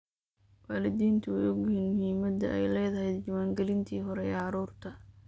Waalidiintu way ogyihiin muhiimadda ay leedahay diiwaangelinta hore ee carruurta.